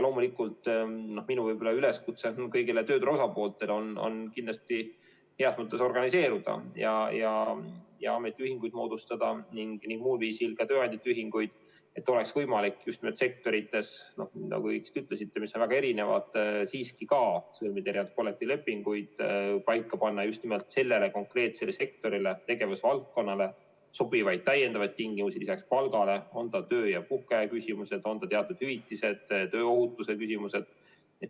Loomulikult minu üleskutse kõigile tööturu osapooltele on kindlasti heas mõttes organiseeruda ja ametiühinguid moodustada, ka tööandjate ühinguid, et oleks võimalik sektorites, mis on väga erinevad, siiski sõlmida ka erinevaid kollektiivlepinguid, panna paika just nimelt sellele konkreetsele sektorile või tegevusvaldkonnale sobivaid täiendavaid tingimusi lisaks palgale, on need siis töö- ja puhkeaja küsimused, on need teatud hüvitised või tööohutuse küsimused.